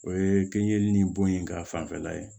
O ye kinɲɛli ni bon ye ka fanfɛla ye